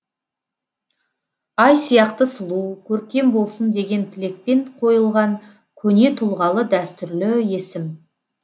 ай сияқты сұлу көркем болсын деген тілекпен қойылған көне тұлғалы дәстүрлі есім